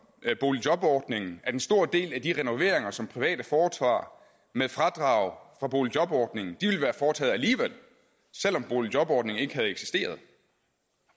boligjobordningen at en stor del af de renoveringer som private foretager med fradrag for boligjobordningen ville være foretaget alligevel selv om boligjobordningen ikke havde eksisteret